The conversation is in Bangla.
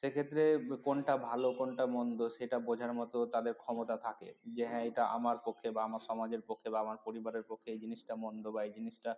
সেক্ষেত্রে কোনটা ভালো কোনটা মন্দ সেটা বোঝার মত তাদের ক্ষমতা থাকে যে হ্যাঁ এটা আমার পক্ষে বা আমার সমাজের পক্ষে বা আমার পরিবারের পক্ষে এই জিনিস টা মন্দ বা এই জিনিস টা